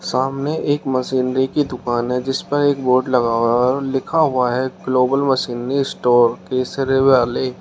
सामने एक मशीनरी की दुकान हैं जिस पर एक बोर्ड लगा हुआ है और लिखा हुआ है ग्लोब मशीनरी स्टोर केसरे वाली।